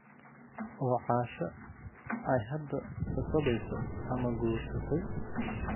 oo Caasha ay hadda sasabayso ama guursatay